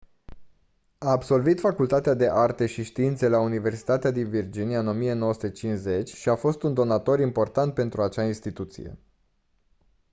a absolvit facultatea de arte și științe la universitatea din virginia în 1950 și a fost un donator important pentru acea instituție